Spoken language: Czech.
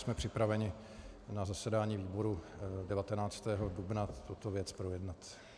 Jsme připraveni na zasedání výboru 19. dubna tuto věc projednat.